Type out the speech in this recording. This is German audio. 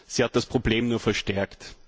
Sie hat das Problem nur verstärkt.